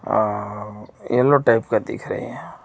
आ yellow type का दिख रहे हैं।